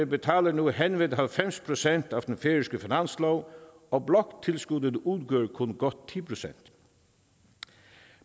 betaler nu henved halvfems procent af den færøske finanslov og bloktilskuddet udgør kun godt ti procent